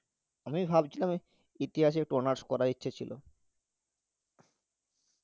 আমি ভাবছিলাম ওই ইতিহাসে একটু honours করার ইচ্ছা ছিল